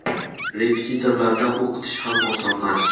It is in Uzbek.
Repetitorlarda o‘qitish ham osonmas.